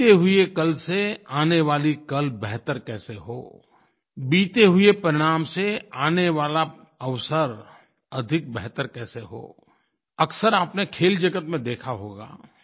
बीते हुए कल से आने वाला कल बेहतर कैसे हो बीते हुए परिणाम से आने वाला अवसर अधिक बेहतर कैसे हो अक्सर आपने खेल जगत में देखा होगा